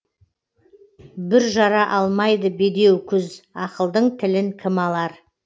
бүр жара алмайды бедеу күз ақылдың тілін кім алар